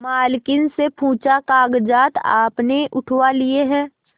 मालकिन से पूछाकागजात आपने उठवा लिए हैं